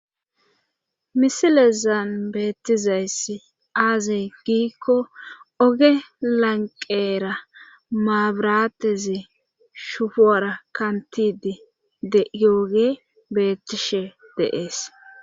misilezaan beettizayssi aaze giikko oge lanqeera maabirateze shufoora kantidi de'yooge beettishe de'ees